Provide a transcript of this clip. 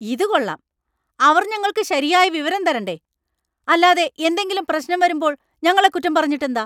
ഇതുകൊള്ളാം. അവർ ഞങ്ങൾക്ക് ശരിയായ വിവരം തരണ്ടേ; അല്ലാതെ എന്തെങ്കിലും പ്രശ്നം വരുമ്പോൾ ഞങ്ങളെ കുറ്റം പറഞ്ഞിട്ടെന്താ?